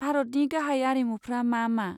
भारतनि गाहाय आरिमुफ्रा मा मा?